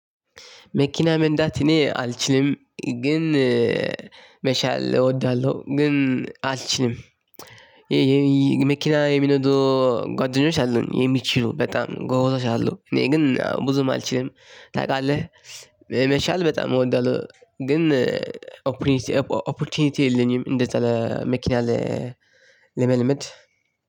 መኪና መንዳት እኔ አልችልም ግን መቻል እወዳለሁ ግን አልችልም። የመኪና የሚነዱ ጓደኞች አሉኝ የሚችሉ በጣም ጎበዞች አሉ። እኔ ግን ብዙም አልችልም። ታውቃለህ። መቻል በጣም እወዳለሁ ግን ኦፖርቹኒቲ የለኝም። እንደዛ መኪና ለመልመድ።